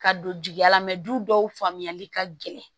Ka don jigiya la du dɔw faamuyali ka gɛlɛn